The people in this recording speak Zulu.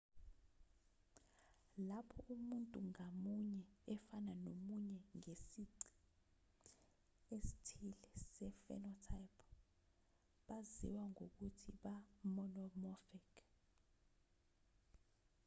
lapho umuntu ngamunye efana nomunye ngesici esithile se-phenotype baziwa ngokuthi ba-monomorphic